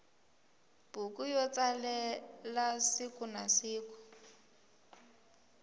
buku yo tsalela sikunasiku